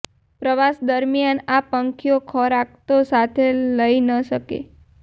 પ્રવાસ દરમિયાન આ પંખીઓ ખોરાક તો સાથે લઇ ન શકે